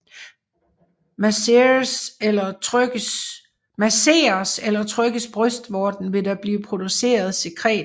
Masseres eller trykkes brystvorten vil der blive produceret sekretet